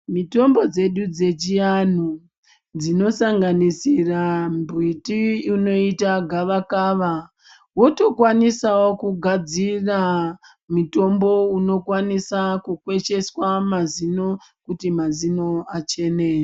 Mitombo dzedu dzechianhu dzinosanganisira mbiti inoita gavakava wotokwanisawo kugadzira mutombo unokwanisa kukwesheswa mazino kuti mazino achene.